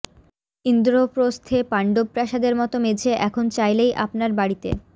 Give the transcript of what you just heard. ইন্দ্রপ্রস্থে পাণ্ডব প্রাসাদের মতো মেঝে এখন চাইলেই আপনার বাড়িতে